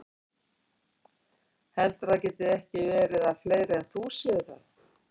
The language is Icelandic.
Heldurðu að það geti ekki verið að fleiri en þú séu það?